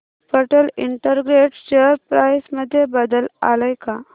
Patel integrate share price मध्ये बदल आलाय का